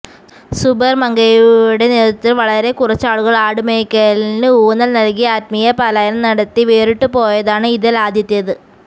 സുബൈർ മങ്കടയുടെ നേതൃത്വത്തിൽ വളരെ കുറച്ചാളുകൾ ആട് മെയ്ക്കലിന് ഊന്നൽ നൽകി ആത്മീയ പലായനം നടത്തി വേറിട്ടുപോയതാണ് ഇതിൽ ആദ്യത്തേത്